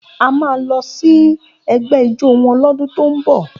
A máa lọ sí ẹgbẹ́ ijó wọn lọ́dún tó ń bọ̀